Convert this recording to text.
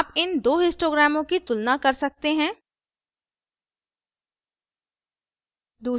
आप इन 2 histograms की तुलना कर सकते हैं